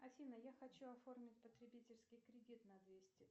афина я хочу оформить потребительский кредит на двести